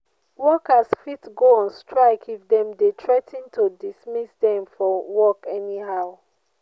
workers fit go on strike if dem de threa ten to dismiss them from work anyhow